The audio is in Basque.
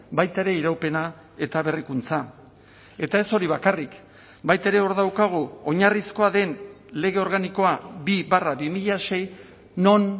baita ere iraupena eta berrikuntza eta ez hori bakarrik baita ere hor daukagu oinarrizkoa den lege organikoa bi barra bi mila sei non